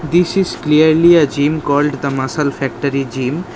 This is clearly a gym called The Masal Factory gym.